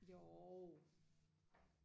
jo